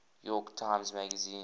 york times magazine